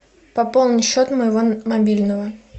пополни счет моего мобильного